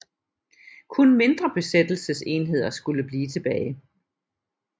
Kun mindre besættelsesenheder skulle blive tilbage